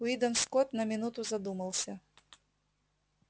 уидон скотт на минуту задумался